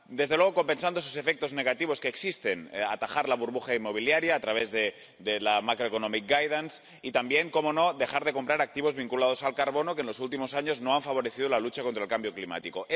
desde luego, compensando esos efectos negativos que existen atajar la burbuja inmobiliaria a través de las orientaciones macroeconómicas y también —cómo no— dejar de comprar activos vinculados al carbono, que en los últimos años no han favorecido la lucha contra el cambio climático.